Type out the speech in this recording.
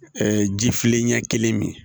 ji filenɲɛ kelen min